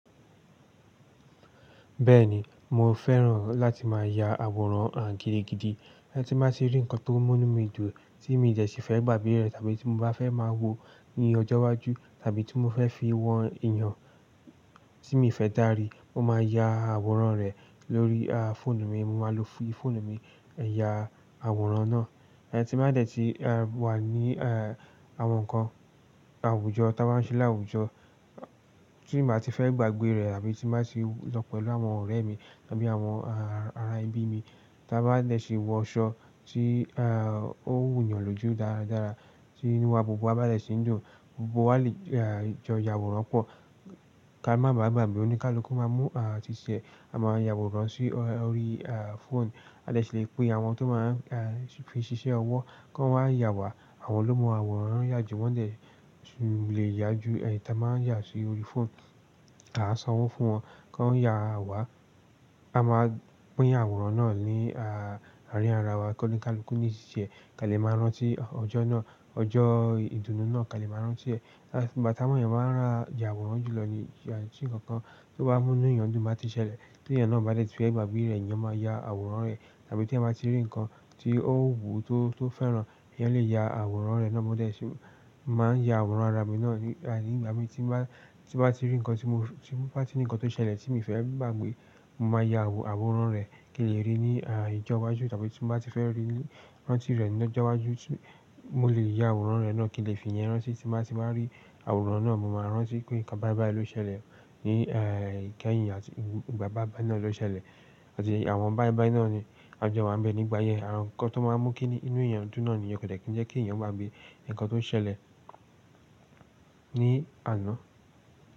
Bẹ́ẹ̀ni, mo fẹ́ràn láti máa ya àwòrán gídìgidi. Tí máa ti rí nǹkan tó mú nu mí dùn, tí mi de sí fẹ́ gbàgbé rẹ̀, tàbí tí mo bá fẹ́ máa wo ní ọjọ́ iwájú, tàbí tí mo fẹ́ fi wọn èèyàn tí mo fẹ́ dárí, mo máa ya àwòrán rẹ̀ lórí, à, fóònù mi. Mo máa lo fóònù mi, yà àwòrán náà. Ẹh tí màá dẹ̀ ti wà ní, à, àwọn nǹkan àwùjọ tí a bá n ṣe láwùjọ, tí màá ti fẹ́ gbàgbé rẹ̀ àbí tí màá ti lọ pẹ̀lú àwọn ọ̀rẹ́ mi tàbí àwọn ará ebi mi, tí a bá dẹ̀ ti wọ aṣọ tí, à, ó wù yàn lójú dáradára tí inú wa gbogbo a bá dẹ̀ ti ń dùn, gbogbo wa lè jọ yàwòrán pọ̀. Ka má bàà gbàgbé, ónikaluku máa mú, à, ṣiṣẹ́. A máa yàwòrán sí orí, à, fóònù. A lè ṣe pé àwọn tó máa ń fi ṣiṣẹ́ ọwọ́ kó wáa yà wá. Àwọn ló mọ àwòrán ń yá ju, wọ́n dẹ̀ lè yá ju ẹ̀yi tí a máa ń yà sí orí fóònù. A san owo fún wọn kó yà wá. A máa pín àwòrán náà ní, à, àárín ara wa kó ní kaluku lọ ṣe ti ti ẹ́. Ka lè máa rántí ọjọ́ náà. Ọjọ́ ìdùnnú náà ka lè máa rántí ẹ̀. Gbà t'àwọn ẹeyan máa n ra àwòrán jùlọ ní, à, tí nǹkan tó bá mú inú èèyàn dùn bá ti ṣẹlẹ̀. Tí èèyàn náà bá dẹ̀ ti fẹ́ gbàgbé rẹ̀, eeyan máa ya àwòrán rẹ̀. Tàbí tí ẹ máa ti rí nǹkan tí ó wù tó fẹ́ràn, eeyan lè ya àwòrán rẹ̀ náà. Mo dẹ̀ ti máa ń ya àwòrán ara mi náà ní ìgbà mí tí n bàá ti rí nǹkan tí mo bá ti rí nǹkan tó ṣẹlẹ̀ tí mi o fẹ́ gbàgbé, mo máa ya àwòrán rẹ̀ kí n lè rí i ní ìjọ́wájú tàbí tí mo bá ti fẹ́ rí rán tí rẹ̀ lọ́jọ́ iwájú, mo lè ya àwòrán rẹ̀ náà kí n lè fi ìyẹn rán tí. Tí màá ti bá rí àwòrán náà, mo máa rántí pé nǹkan báì báì ló ṣẹlẹ̀ ní, à, ìkẹyìn àti ìgbà báì báì náà ló ṣẹlẹ̀. Àti àwọn báì báì náà ni a jọ máa ń bẹ̀ nígbà yẹn. Àwọn nǹkan tó máa ń mú kí inú èèyàn dùn náà niyen ko de kí ń jẹ́ kí èèyàn gbàgbé nǹkan tó ṣẹlẹ̀ ní àná.